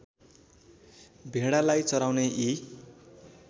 भेडालाई चराउने यी